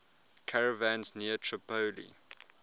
caravans near tripoli